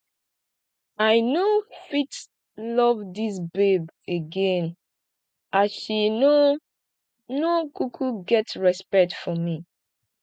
i no fit love dis babe again as she no no kuku get respect for me